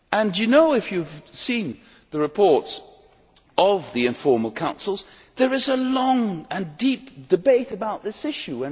You know, if you have seen the reports of the informal Councils, that there is a long and deep debate about this issue.